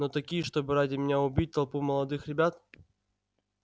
но такие чтобы ради меня убить толпу молодых ребят